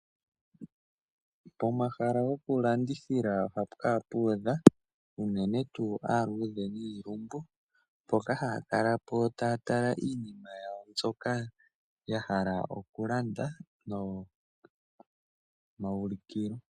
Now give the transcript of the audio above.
Pomahala gokulandithila ohapu kala pu udha aantu yomihoko dha yooloka, na ohaya kala po nduno taya simonona iinima yawo mbyoka ya hala okulanda pomahala ogo tuu ngoka gomawulukilo giipindi.